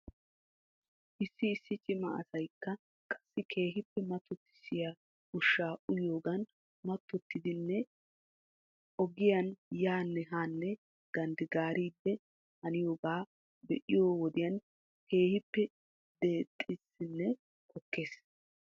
Issi issi cima asaykka qassi keehippe mattottisiyaa ushshaa uyiyoogan mattottidinne agiyan yaanne haanne ganddigaariiddi haniyoogaa be'iyoo wodiyan keehippe deexedsinne pokkoyisses.